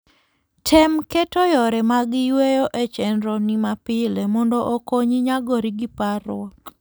Tem keto yore mag yueyo e chenroni mapile mondo okonyi nyagori gi parruok.